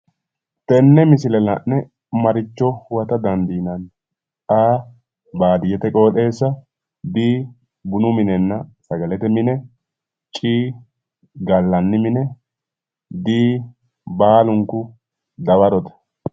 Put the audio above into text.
Tenne misile la'ne maa huwata dandiinanni? A/baadiyyete qooxeessa B/bunu minenna sagalete mine C/gallanni mine D/baalunku dawarote